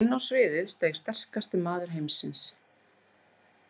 Og inn á sviðið steig sterkasti maður heimsins.